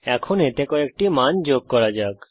এখন এতে কয়েকটি মান যোগ করা যাক